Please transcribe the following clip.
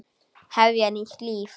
Hefja nýtt líf.